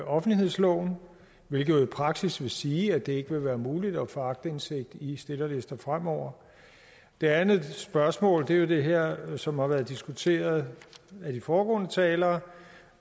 offentlighedsloven hvilket jo i praksis vil sige at det ikke vil være muligt at få aktindsigt i stillerlister fremover det andet spørgsmål er jo det her som har været diskuteret af de foregående talere